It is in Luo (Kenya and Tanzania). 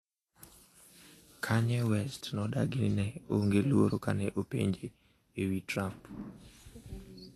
Kanye West nodagi ni ne onge luoro kane openje ewi Trump